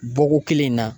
Bɔko kelen in na